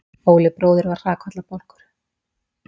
Óli bróðir var hrakfallabálkur.